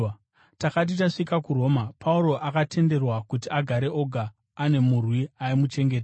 Takati tasvika kuRoma, Pauro akatenderwa kuti agare oga, ane murwi aimuchengeta.